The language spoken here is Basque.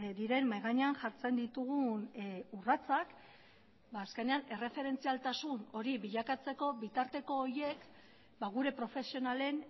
diren mahai gainean jartzen ditugun urratsak azkenean erreferentzialtasun hori bilakatzeko bitarteko horeik gure profesionalen